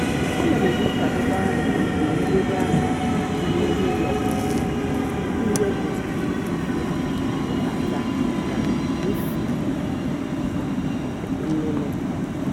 ana m ehichapụkwa igwe ndobe aka dị n'ihu ụlọ kwa ọnwa iji wepụ uzuzu nkata na nsị nnụnụ.